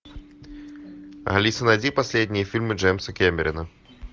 алиса найди последние фильмы джеймса кэмерона